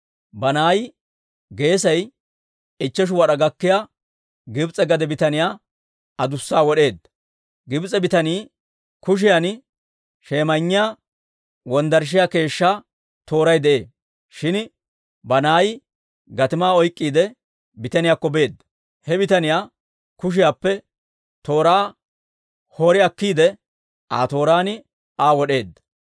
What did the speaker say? Banaayi geesay ichcheshu wad'aa gakkiyaa Gibs'e gade bitaniyaa adussa wod'eedda. Gibs'e bitaniyaa kushiyan shemayinniyaa wonddarashiyaa keeshshaa tooray de'ee; shin Banaayi gatimaa oyk'k'iide, bitaniyaakko beedda. He bitaniyaa kushiyaappe tooraa wotsi akkiide, Aa tooraan Aa wod'eedda.